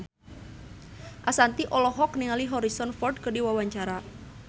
Ashanti olohok ningali Harrison Ford keur diwawancara